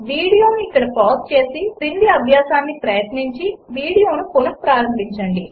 వీడియోను ఇక్కడ పాజ్ చేసి క్రింది అభ్యాసం ప్రయత్నించి వీడియోను పునఃప్రారంభించండి